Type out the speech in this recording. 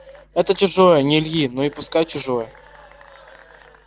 это чужое не ильи но и пускай чужое